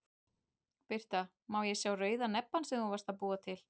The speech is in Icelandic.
Birta: Má ég sá rauða nebbann sem þú varst að búa til?